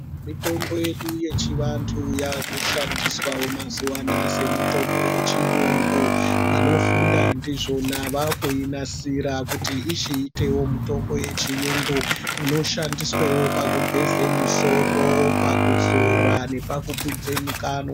Mitombo yedu yechivantu yakushandiswawo mazuwa anaya semitombo yechiyungu. Vanofunda ndizvona vakuinasira kuti ichiitewo mitombo yechiyungu, inoshandiswewo pakugeze misoro, pakuzora nepakukwidze mikanwa.